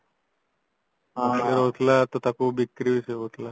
ରହୁଥିଲା ତ ତାକୁ ବିକ୍ରି ବି ସେ ହଉଥିଲା